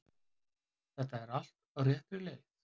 Þetta er allt á réttri leið